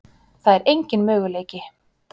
Það er engin möguleiki.